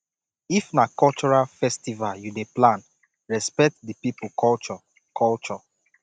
if na cultural festival you dey plan respect di pipo culture culture